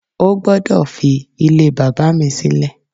O gbọdọ fi ílé bàbá mi silẹ!